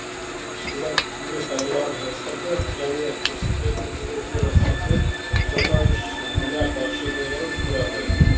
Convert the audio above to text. шикізаттық емес тауарлар экспорты және көрсетілетін қызметтер экспорты жиырма үш миллиард ақш долларын құрады